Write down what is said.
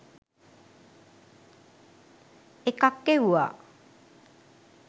එකක් එව්වා